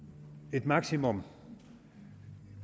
et maksimum